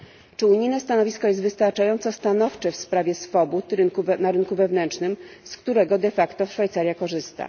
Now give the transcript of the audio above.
Czy unijne stanowisko jest wystarczająco stanowcze w sprawie swobód na rynku wewnętrznym, z którego de facto Szwajcaria korzysta?